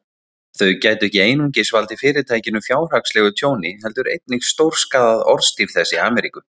Þau gætu ekki einungis valdið Fyrirtækinu fjárhagslegu tjóni, heldur einnig stórskaðað orðstír þess í Ameríku.